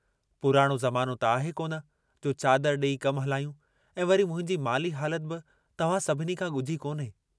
पुराणो ज़मानो त आहे कोन जो चादर डेई कम हलायूं ऐं वरी मुंहिंजी माली हालत बि तव्हां सभिनी खां गुझी कोन्हे।